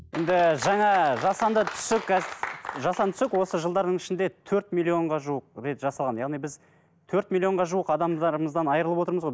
енді жаңа жасанды түсік жасанды түсік осы жылдардың ішінде төрт миллионға жуық рет жасалған яғни біз төрт миллионға жуық адамдарымыздан айрылып отырмыз ғой